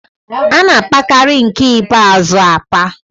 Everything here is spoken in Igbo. A na-apakarị nke ikpeazụ apa.